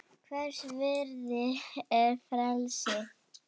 Hvers virði er frelsið?